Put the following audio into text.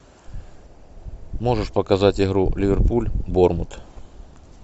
можешь показать игру ливерпуль борнмут